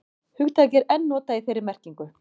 Hugtakið er enn notað í þeirri merkingu.